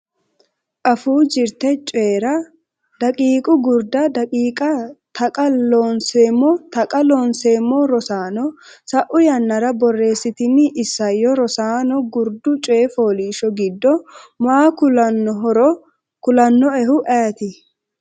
Afuu Jirte Coyi’ra daqiiqa Gurda daqiiqa Taqa Loonseemmo Taqa Loonseemmo Rosaano, sa’u yannara borreessitini isayyo Rosaano gurdu coy fooliishsho giddo maa kullannohoro kulannoehu ayeeti?